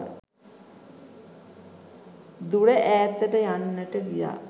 දුර ඈතට යන්නට ගියා.